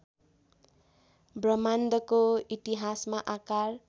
ब्रह्माण्डको इतिहासमा आकार